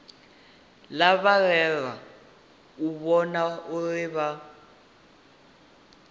lavhelelwa u vhona uri vha